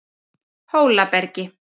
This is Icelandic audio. Hólabergi